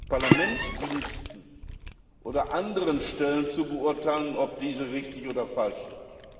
Parlamentsdiensten oder anderen Stellen zu beurteilen, ob diese richtig oder falsch sind.